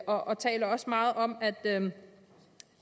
og talte også meget